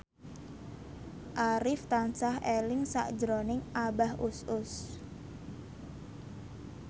Arif tansah eling sakjroning Abah Us Us